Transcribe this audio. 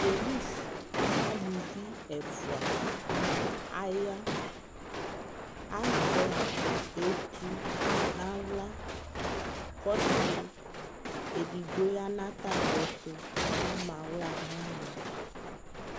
Polisi alʋvi ɛfua aya Azɛ etu n'aɣla kʋ ɔsi edigbo ya nʋ atami ɛtʋ kʋ ama aɣla nʋ ɔna